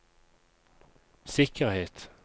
sikkerhet